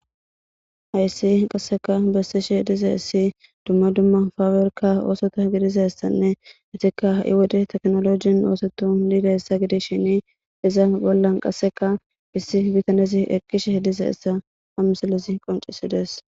Hayssi qassika issiba besishe diza issika dumma dumma pabirka oso othiza issane izika hai wode tekeolojen oseta giddishin hega bolla qassika issi bitanezi eqqishin diza a issa ha misilezi qoncisi besses.